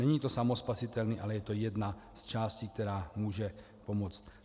Není to samospasitelné, ale je to jedna z částí, která může pomoci.